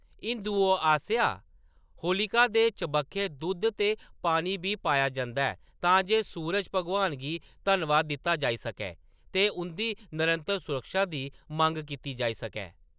हिंदुएं आसेआ होलिका दे चबक्खै दुद्ध ते पानी बी पाया जंदा ऐ तां जे सूरज भगवान गी धन्नवाद दित्ता जाई सकै ते उंʼदी नरंतर सुरक्षा दी मंग कीती जाई सकै।